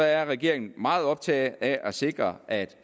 er regeringen meget optaget af at sikre at